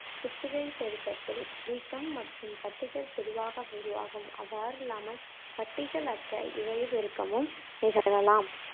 புத்திழையப் பெருக்கத்தில் வீக்கம் அல்லது கட்டிகள் பொதுவாக உருவாகும். அவ்வாறில்லாமல் கட்டிகள் அற்ற இழையப் பெருக்கமும் நிகழலாம்